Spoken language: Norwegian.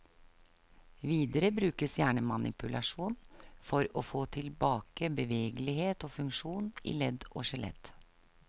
Videre brukes gjerne manipulasjon for å få tilbake bevegelighet og funksjon i ledd og skjelett.